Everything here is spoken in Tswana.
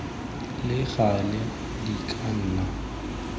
le gale di ka nna